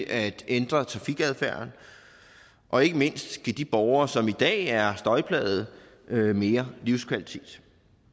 at ændre trafikadfærden og ikke mindst give de borgere som i dag er støjplagede mere livskvalitet